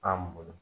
An bolo